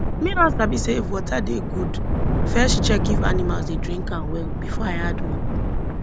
me don sabi say if water dey good first check if animals dey drink am well before i add more